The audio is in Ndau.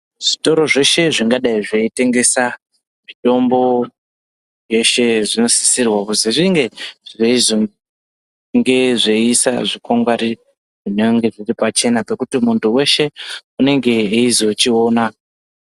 Zvitoro zveshe zvinodayi zveyitengesa mutombo weshe zvinosisirwa kuti zvinge zveyizoisa zvikwangwari zvinenge zviri pachena zvokuti mundu weshee unenge weyizochiona.